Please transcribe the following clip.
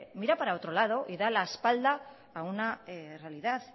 mira para otro lado y da la espalda a una realidad